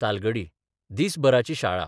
तालगडी दिसभराची शाळा